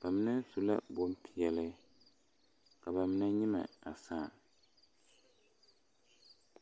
ba mine su la bompeɛle ka ba mine nyemɛ a saa.